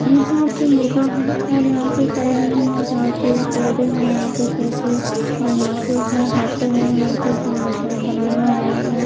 यहां पे मुर्गा है और यहां पे साइड में झाड़ पेड़ पौधे हैं यहां पे शोके और यहां पे है हाटे हैं यहां पे जोड़कर बनाया हुआ--